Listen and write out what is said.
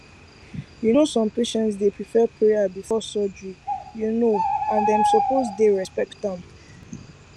you know some patients dey prefer prayer before surgery you know and dem suppose dey respect am